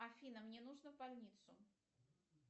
афина мне нужно в больницу